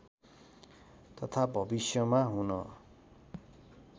तथा भविष्यमा हुन